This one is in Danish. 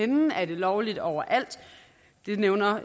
den er det lovligt overalt det nævner